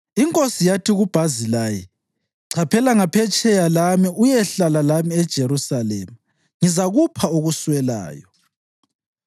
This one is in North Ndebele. Inkosi yathi kuBhazilayi, “Chaphela ngaphetsheya lami uyehlala lami eJerusalema ngizakupha okuswelayo.”